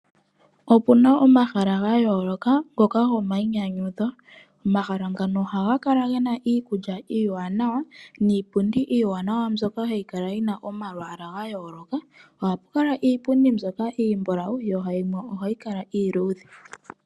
Opuna omahala gayoloka ngoka gomayinyanyudho. Omahala ngaka ohaga kala gena iikulya iiwanawa niipundi iwanawa, mbyoka hay kala yina omalwaala gayoloka. Ohapu kala iipundi yimwe mbyoka iimbulawu yo yimwe iiludhe.